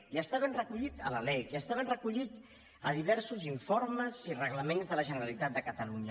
i està ben recollit a la lec i està ben recollit a diversos informes i reglaments de la generalitat de catalunya